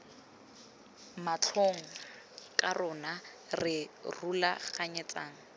matlhong ke rona re rulaganyetsang